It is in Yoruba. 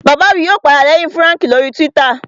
Bàbá mi yóò padà lẹ́yìn Fúràǹkì lórii túwítà